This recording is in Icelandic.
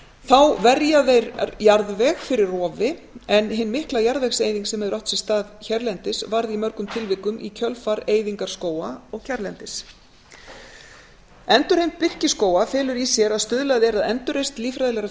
þá verja þeir jarðveg fyrir rofi en hin mikla jarðvegseyðing sem hefur átt sér stað hérlendis varð í mörgum tilvikum í kjölfar eyðingar skóga og kjarrlendis endurheimt birkiskóga felur í sér að stuðlað er að endurreisn lílffræðilegrar